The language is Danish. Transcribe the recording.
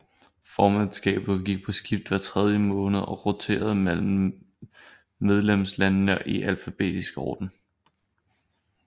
Formandsskabet gik på skift hver tredje måned og roterede mellem medlemslandene i alfabetisk orden